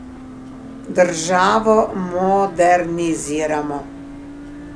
Državo moderniziramo.